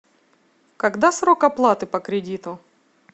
когда срок оплаты по кредиту